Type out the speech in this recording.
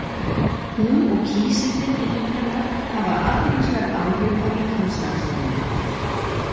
Hún og kísillinn innan hennar hafa athyglisverð áhrif á líkamsstarfsemina.